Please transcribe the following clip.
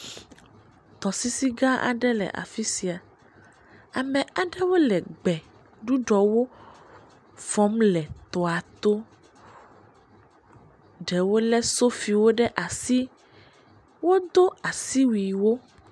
Tɔsisi gã aɖe le afi sia, ame aɖewo le gbeɖuɖɔwo fɔm le tɔa to, ɖewo lé sofiwo ɖe asi, wodo asi wuiwo.